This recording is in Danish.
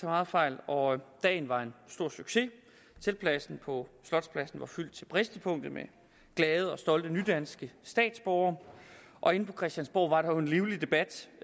meget fejl og dagen var en stor succes teltpladsen på slotspladsen var fyldt til bristepunktet med glade og stolte nydanske statsborgere og inde på christiansborg var der jo en livlig debat